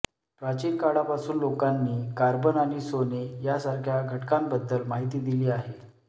प्राचीन काळापासून लोकांनी कार्बन आणि सोने यासारख्या घटकांबद्दल माहिती दिली आहे